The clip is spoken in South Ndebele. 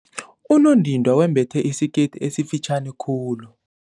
Unondindwa wembethe isikete esifitjhani khulu.